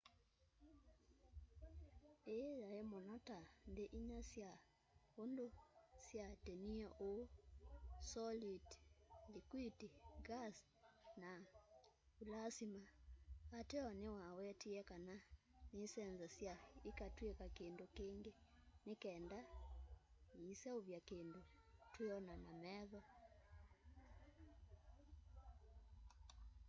ii yai muno ta nthi inya sya undu syiatinie uu : soliti likwiti ngasi na vulasima ateo niwawetie kana nisenzasya ikatwika kindu kingi ni kenda iseuvye kindu twiona na metho